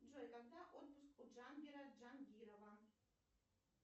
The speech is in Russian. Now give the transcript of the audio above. джой когда отпуск у джангира джангирова